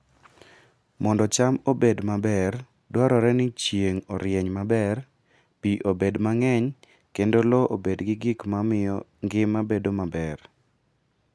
Mondo cham obed maber dwarore ni chieng' orieny maber, pi obed mang'eny, kendo lowo obed gi gik ma miyo ngima bedo maber.